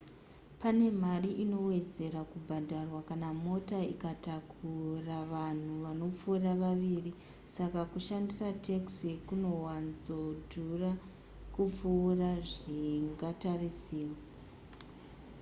pane mari inowedzera kubhadharwa kana mota ikatakura vanhu vanopfuura vaviri saka kushandisa taxi kunowanzodhura kupfuura zvingatarisirwa